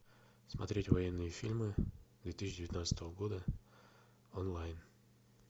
смотреть военные фильмы две тысячи девятнадцатого года онлайн